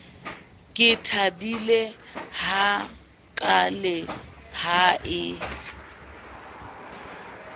ke thabile hakaale ha e